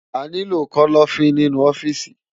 Àniló kòlòfin ninú òfìsí